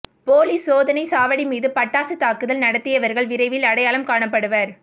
police சோதனைச் சாவடிமீது பட்டாசுத் தாக்குதல் நடத்தியவர்கள் விரைவில் அடையாளம் காணப்படுவர்